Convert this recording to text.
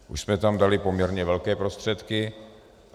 Už jsme tam dali poměrně velké prostředky.